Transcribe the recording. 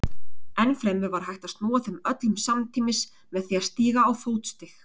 Ennfremur var hægt að snúa þeim öllum samtímis með því að stíga á fótstig.